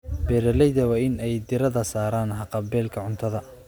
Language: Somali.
Beeralayda waa in ay diiradda saaraan haqab-beelka cuntada.